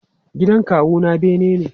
Gidan kawu na bene ne.